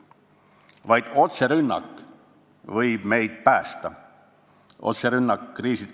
Vaid otserünnak võib meid nüüd päästa.